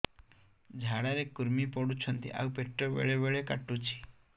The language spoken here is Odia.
ଝାଡା ରେ କୁର୍ମି ପଡୁଛନ୍ତି ଆଉ ପେଟ ବେଳେ ବେଳେ କାଟୁଛି